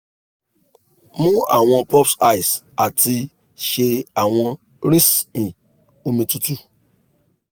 mu awọn pops ice ati ṣe awọn rinsi omi tutu